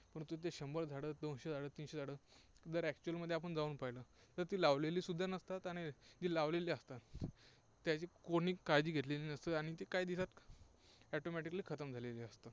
परंतु ते शंभर झाडं, दोनशे झाडं, तीनशे झाडं जर actual मध्ये आपण जाऊन पाहिलं, तर ती लावलेली सुद्धा नसतात आणि जी लावलेली असतात त्याची कोणी काळजी घेतलेली नसते आणि ती काही दिवसांत automaticallyखतम झालेली असते.